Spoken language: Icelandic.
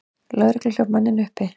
Lögregla hljóp manninn uppi.